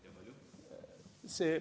Kui tohib!